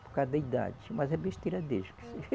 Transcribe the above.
Por causa da idade, mas é besteira deles.